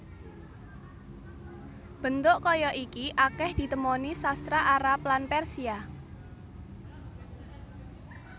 Bentuk kaya iki akèh ditemoni sastra Arab lan Persia